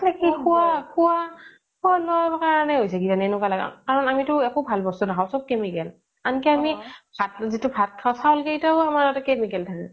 খুৱা খুৱা খুৱা লোৱাৰ কাৰণে নেকি আমিটো একো ভাল বস্তু নাখাও চব chemical আন কি আমি যিতো ভাত খাও মানে চাউল কিইটো আমাৰ chemical থাকে